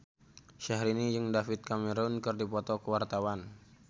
Syahrini jeung David Cameron keur dipoto ku wartawan